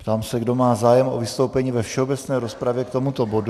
Ptám se, kdo má zájem o vystoupení ve všeobecné rozpravě k tomuto bodu.